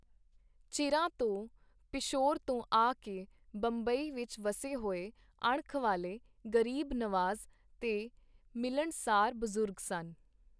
ਚਿਰਾਂ ਤੋਂ ਪਿਸ਼ੌਰ ਤੋਂ ਆ ਕੇ ਬੰਬਈ ਵਿਚ ਵੱਸੇ ਹੋਏ, ਅਣਖ ਵਾਲੇ, ਗਰੀਬ ਨਵਾਜ਼, ਤੇ ਮਿਲਣਸਾਰ ਬਜ਼ੁਰਗ ਸਨ.